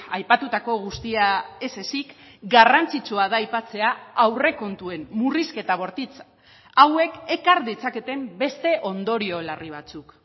aipatutako guztia ez ezik garrantzitsua da aipatzea aurrekontuen murrizketa bortitz hauek ekar ditzaketen beste ondorio larri batzuk